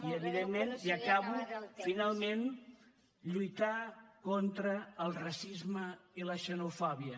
i evidentment ja acabo finalment lluitar contra el racisme i la xenofòbia